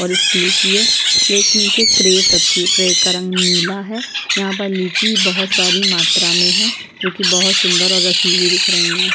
और एक की है प्लेट के नीचे एक क्रेट रखी है क्रेट का रंग नीला है यहाँ पर लीची बहुत सारी मात्रा में है जो कि बहुत सुन्दर और रसीली दिख रहीं हैं |